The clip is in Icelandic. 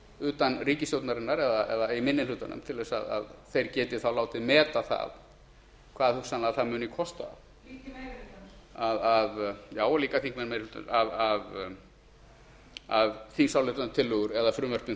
utan ríkisstjórnarinnar eða í minni hlutanum til að þeir geti þá látið meta það hvað hugsanlega það muni kosta líka í meiri hlutanum já og líka þingmenn í meiri hlutanum að þingsályktunartillögur eða frumvörp